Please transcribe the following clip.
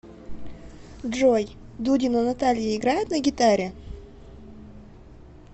джой дудина наталья играет на гитаре